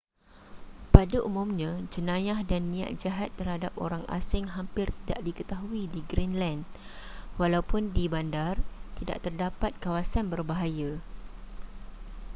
pada umumnya jenayah dan niat jahat terhadap orang asing hampir tidak diketahui di greenland walaupun di bandar tidak terdapat kawasan berbahaya